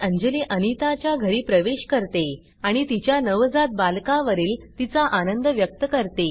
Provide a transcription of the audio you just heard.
अंजली अनिता च्या घरी प्रवेश करते आणि तिच्या नवजात बालका वरील तिचा आनंद व्यक्त करते